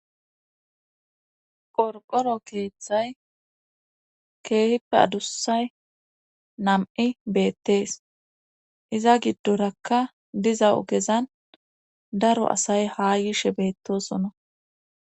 qorqoro keeththay keehippe adussay nam7i beettees iza giddorakka diza ogezan daro asay haa yishe beettosona